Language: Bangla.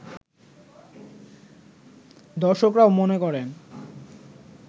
দর্শকরাও মনে করেন